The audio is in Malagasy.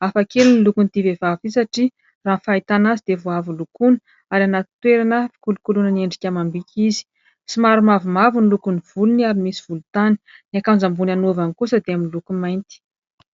Hafakely ny lokon'ity vehivavy ity satria raha ny fahitana azy dia vao avy nolokoina any anaty toerana fikolokoloina ny endrika amam-bika izy, somary mavomavo ny lokon'ny volony ary misy volontany, ny akanjo ambony anaovany kosa dia amin'ny lokony mainty.